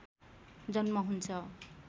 जन्म हुन्छ